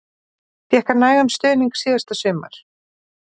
Fékk hann nægan stuðning síðasta sumar?